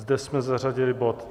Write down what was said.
Zde jsme zařadili bod